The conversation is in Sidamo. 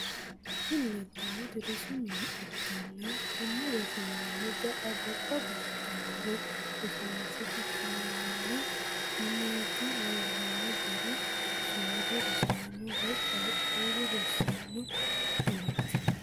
Tini lelitanoti rossu mine ikana kuni roosi minini gaa gobba gshshitanore rossinise fushshinaninni mineti lelano garino simadu rossano woy qaqulu rosano mineti.